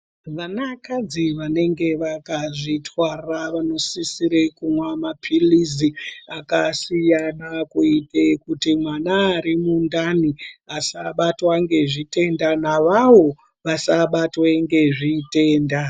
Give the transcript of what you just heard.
Vanakadzi vanenge vakazvitwara vanosisire kunwa maphirizi akasiyana, kuite kuti mwana arimundani asabatwa ngezvitenda navavo vasabatwe ngezvitenda.